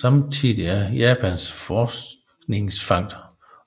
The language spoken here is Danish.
Samtidigt er Japans forskningsfangst